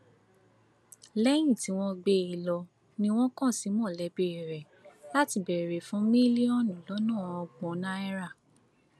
lẹyìn tí wọn gbé e lọ ni wọn kàn sí mọlẹbí rẹ láti béèrè fún mílíọnù lọnà ọgbọn náírà